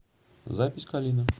запись калина